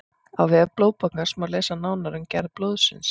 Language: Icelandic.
á vef blóðbankans má lesa nánar um gerð blóðsins